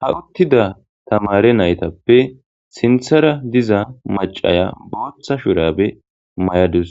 ha uttida tamare naytappe sinthara diza macaya booththa shurabe mayadus.